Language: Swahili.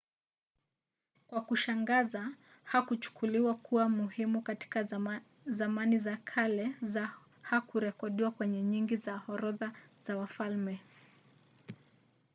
kwa kushangaza hakuchukuliwa kuwa muhimu katika zamani za kale na hakurekodiwa kwenye nyingi za orodha za wafalme